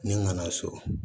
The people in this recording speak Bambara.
Ni n nana so